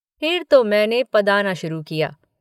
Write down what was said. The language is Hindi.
फिर तो मैंने पदाना शुरू किया।